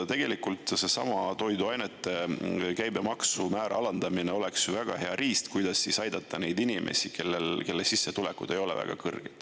Tegelikult seesama toiduainete käibemaksumäära alandamine oleks väga hea riist, kuidas aidata neid inimesi, kelle sissetulekud ei ole väga kõrged.